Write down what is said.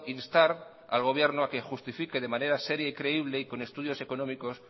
instar al gobierno a que justifique de manera seria y creíble y con estudios económicos